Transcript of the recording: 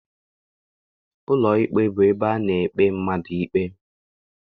Ụlọikpe bụ ebe ana ekpe mmadụ ikpe.